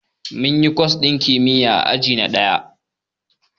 Munyi kwas ɗin kimiyya a aji na ɗaya